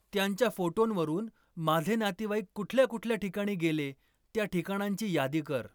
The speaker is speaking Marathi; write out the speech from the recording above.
त्यांच्या फोटोंवरून माझे नातेवाईक कुठल्या कुठल्या ठिकाणी गेले त्या ठिकाणांची यादी कर